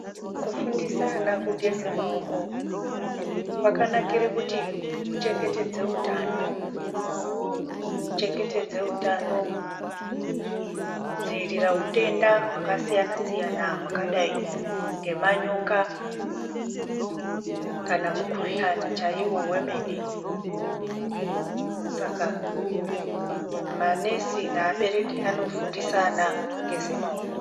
Kufundise ana kugeze maoko kwakanakire kuti kuchengetedze utano kuchengetedze utano kudzivirira hutenda hwakasiyana siyana hwakadai ngemanyoka kana mukuhlani chaiwo wemene saka manesi neabereki anofundise ana kugeze maoko.